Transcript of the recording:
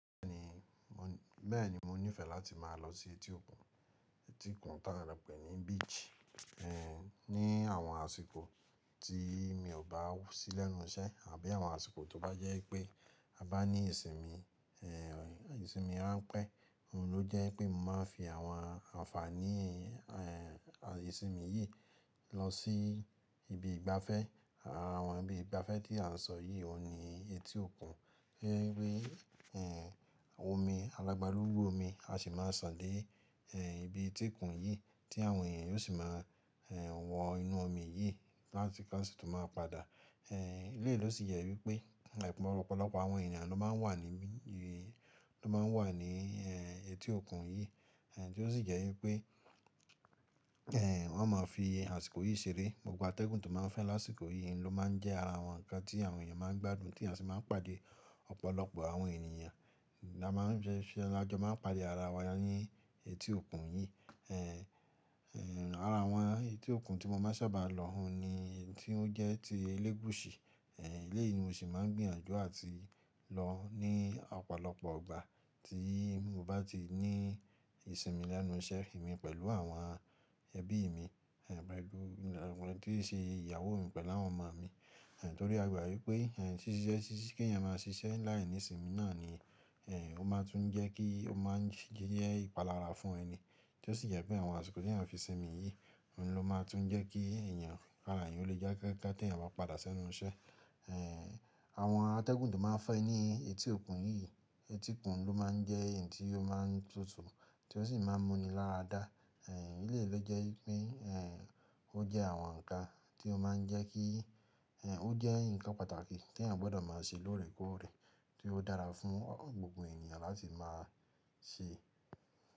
Bẹ́ẹ̀ni, mò ní ìfẹ́ láti máa lọ sí etí òkun tí a npè ní beach, ní àwọn àsìkò tí mi ò bá sí lẹ́nu iṣẹ́ àbí àwọn àsìkò tó bá jẹ́ pé a bá ní ìsinmi, ìsinmi ránpẹ́, òun ló jẹ́ pé mo máa ń fi àwọn àǹfààní ìsinmi yìí lọ sí ibi ìgbafẹ́. Àwọn ibi ìgbafẹ́ tí à ń sọ yìí òun ni etí òkun, ẹgbẹ́ ẹgbẹ́ omi, alàgbàlúgbú omi a sì máa sàn dé ibi etí kun yìí tí àwọn èèyàn yóò sì máa wọ inú omi yìí láti ká sì tún máa padà. Eéh, ilé ló sì yẹ wípé, ẹ̀bùn ọ̀pọ̀lọpọ̀ àwọn ènìyàn ló máa ń wà ní mi, ló máa ń wà ní etí òkun yìí tí ó sì jẹ́ wípé wọ́n máa ń fi àsìkò yìí ṣeré. Gbogbo atẹ́gùn tó máa ń fẹ́ lásìkò yìí ni ló máa ń jẹ́ ara àwọn ǹkan tí àwọn èèyàn máa ń gbádùn tí a sì máa ń pàdé ọ̀pọ̀lọpọ̀ àwọn ènìyàn. A máa ń ajọ máa ń pàdé ara wa ní etí òkun yìí. Eéh, ara àwọn etí òkun tí mo máa sábà lọ òun ni tí ó jẹ́ ti Elegushi. Eléyìí ni mo sì máa ń gbìyànjú àti lọ ní ọ̀pọ̀lọpọ̀ ìgbà tí mo bá ti ní ìsinmi lẹ́nu iṣẹ́ mi pẹ̀lú àwọn ẹbí mi, àwọn tí ó ṣe ìyàwó mi pẹ̀lú àwọn ọmọ mi. Nítorí a gbà wípé ṣíṣe ṣíṣe kí èèyàn máa ṣiṣẹ́ láìní ìsinmi náà ni ó máa tún jẹ́ kí ó máa ń jẹ́ ìpalára fún ẹni tí ó sì jẹ́ pé àwọn àsìkò tí à ń fi sinmi yìí òun ló máa tún jẹ́ kí ẹ̀yàn k'àrá èèyàn lè da gaga kí èèyàn bá padà sẹ́nu iṣẹ́. Àwọn atẹ́gùn tó máa ń fẹ́ ní etí òkun yìí, etí òkun ló máa ń jẹ́ èyí tí ó máa ń tutù tí ó sì máa ń mú ni lára dá. Eéh, iléyi lo jẹ́ wípé ó jẹ́ àwọn ǹkan tí ó máa ń jẹ́ kí ó jẹ́ ǹkan pàtàkì tí èèyàn gbọ́dọ̀ máa ṣe lóòrèkóòrè tí ó dára fún gbogbo ènìyàn láti máa ṣe.